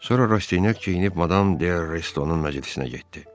Sonra Rastinyak geyinib Madam de Restonun məclisinə getdi.